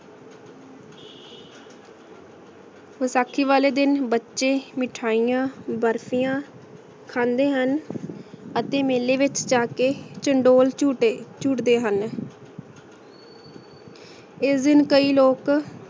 ਵਸਾਖੀ ਵਾਲੇ ਦਿਨ ਬਚੇ ਮਿਠਾਇਯਾਂ ਬਰ੍ਫਿਯਾਂ ਖੰਡੇ ਹਨ ਅਤੀ ਮੀਲੀ ਵਿਚ ਜਾ ਕੇ ਚੰਦੋਲ ਛੁਟੀ ਚੁਤ੍ਡੇ ਹਨ ਏਸ ਦਿਨ ਕਈ ਲੋਕ